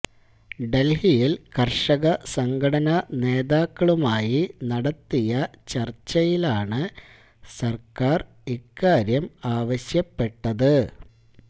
ദല്ഹിയില് കര്ഷക സംഘടനാ നേതാക്കളുമായി നടത്തിയ ചര്ച്ചയിലാണ് സര്ക്കാര് ഇക്കാര്യം ആവശ്യപ്പെട്ടത്